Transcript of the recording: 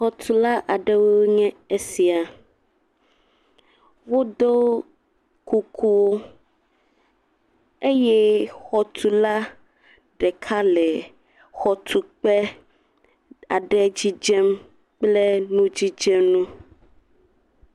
Xɔtula ɖewo nye esia, wodo kuku eye xɔtula ɖeka le xɔtukpe aɖe dzidzem kple nu dzidzenu.